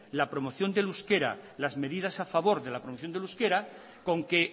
la promoción del euskera las medidas a favor de la producción del euskera con que